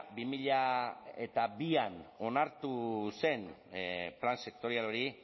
bi mila bian onartu zen plan sektorial hori